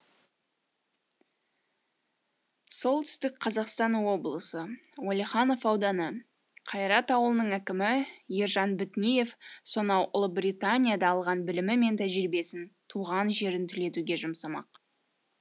солтүстік қазақстан облысы уалиханов ауданы қайрат ауылының әкімі ержан бітниев сонау ұлыбританияда алған білімі мен тәжірибесін туған жерін түлетуге жұмсамақ